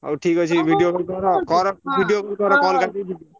ହଉ ଠିକ୍ ଅଛି video call କର video call କାଟୁଛି ।